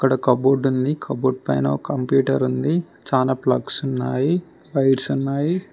అక్కడ్స్ cupboard ఉంది cupboard పైన computer ఉంది చానా ప్లగ్స్ ఉన్నాయి ఫైల్స్ ఉన్నాయి.